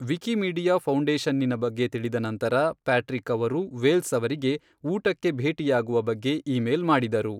Wikimedia ಫೌಂಡೇಶನ್ನಿನ ಬಗ್ಗೆ ತಿಳಿದ ನಂತರ, ಪ್ಯಾಟ್ರಿಕ್ ಅವರು ವೇಲ್ಸ್ ಅವರಿಗೆ ಊಟಕ್ಕೆ ಭೇಟಿಯಾಗುವ ಬಗ್ಗೆ ಇಮೇಲ್ ಮಾಡಿದರು.